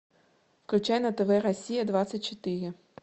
включай на тв россия двадцать четыре